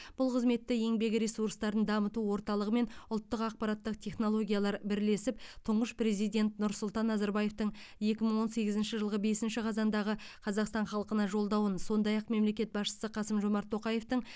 бұл қызметті еңбек ресурстарын дамыту орталығы мен ұлттық ақпараттық технологиялар бірлесіп тұңғыш президент нұрсұлтан назарбаевтың екі мың он сегізінші жылғы бесінші қазандағы қазақстан халқына жолдауын сондай ақ мемлекет басшысы қасым жомарт тоқаевтың